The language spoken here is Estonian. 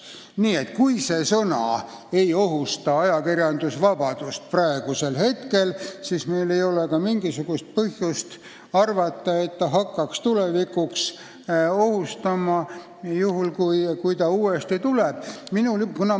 Nii et kui see sõna ei ohusta praegu ajakirjandusvabadust, siis meil ei ole mingisugust põhjust arvata, et see hakkaks ajakirjandusvabadust ohustama tulevikus, juhul kui see sõna uuesti seadusse tuleb.